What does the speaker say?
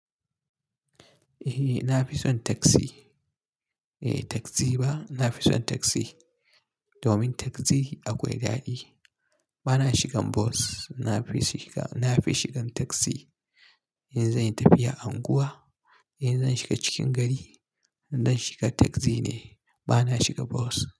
Eh, na fi son taksi. Eh, taksi ba. Na fi son taksi. Domin taksi akwai daɗi. Bana shigan bus. Na fi shiga, na fi shigan taksi. In zanyi tafiya unguwa, in zan shiga cikin gari, zan shiga taksi ne. Bana shiga bos.